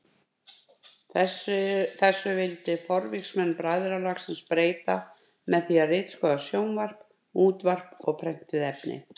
Þessu vildi forvígismenn bræðralagsins breyta með því að ritskoða sjónvarp, útvarp og prentuð efni.